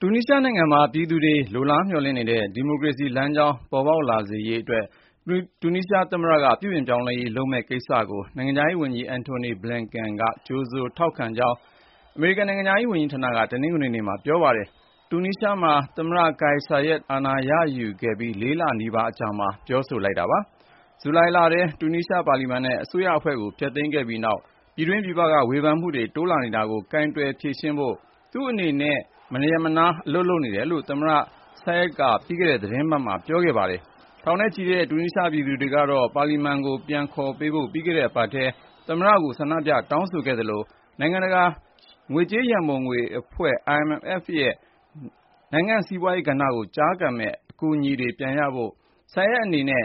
တူနီးရှားနိုင်ငံမှာ ပြည်သူတွေ လိုလားမျှော်လင့်နေတဲ့ ဒီမိုကရေစီလမ်းကြောင်း ပေါ်ပေါက်လာစေရေးအတွက် တူနီးရှားသမ္မတက ပြုပြင်ပြောင်းလဲရေး လုပ်မယ့်ကိစ္စကို နိုင်ငံခြားရေးဝန်ကြီး Antony Blinken က ကြိုဆိုထောက်ခံကြောင်း အမေရိကန် နိုင်ငံခြားရေးဝန်ကြီးဌာနက တနင်္ဂနွေနေ့မှာ ပြောပါတယ်။ တူနီးရှားမှာ သမ္မတ Kais Saied အာဏာရယူခဲ့ပြီး ၄ လနီးပါးအကြာမှာ ပြောဆိုလိုက်တာပါ။ တူနီးရှားမှာ ဇူလိုင်လထဲ ပါလီမန်နဲ့ အစိုးရအဖွဲ့ကို ဖျက်သိမ်းခဲ့ပြီးနောက် ပြည်တွင်းပြည်ပက ဝေဖန်မှုတွေ တိုးလာနေတာကို ကိုင်တွယ်ဖြေရှင်းဖို့ အချိန်ဇယားအတိုင်း သူ့အနေနဲ့ မရပ်မနား အလုပ်လုပ်နေတယ်လို့ သမ္မတ Saied က ပြီးခဲ့တဲ့သီတင်းပတ်မှာ ပြောခဲ့တာပါ။ ထောင်ချီတဲ့ တူနီးရှားပြည်သူတွေကတော့ ပါလီမန်ကို ပြန်ခေါ်ပေးဖို့ ပြီးခဲ့တဲ့အပတ်ထဲ သမ္မတကို ဆန္ဒပြ တောင်းဆိုခဲ့သလို နိုင်ငံတကာ ငွေကြေးရန်ပုံငွေအဖွဲ့ (IMF) ရဲ့ နိုင်ငံ့စီးပွားရေးကဏ္ဍကို ကျားကန်ပေးမယ့် အကူအညီတွေ ပြန်ရနိုင်ဖို့ Saied အနေနဲ့